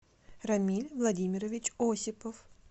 рамиль владимирович осипов